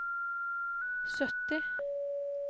sytti